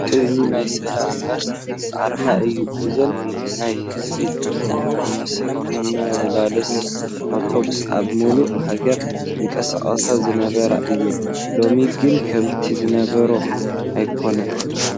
እዚ ናይ ሰላም ባስ ኣርማ እዩ፡፡ እዘን ናይ ህዝቢ መመላለሲ ኣውቶቡስ ኣብ ሙሉእ ሃገር ይንቀሳቐሳ ዝነበራ እየን፡፡ ሎሚ ግን ከምቲ ዝነበርኦ ኣይኮናን፡፡